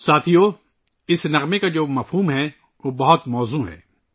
ساتھیو ، اس گانے کا مفہوم بہت مطابقت رکھتا ہے